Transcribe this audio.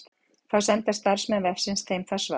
Þá senda starfsmenn vefsins þeim það svar.